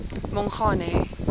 mongane